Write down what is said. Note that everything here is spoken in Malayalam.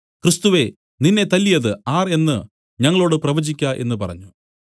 ക്രിസ്തുവേ നിന്നെ തല്ലിയത് ആർ എന്നു ഞങ്ങളോടു പ്രവചിക്ക എന്നു പറഞ്ഞു